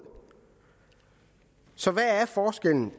så hvad er forskellen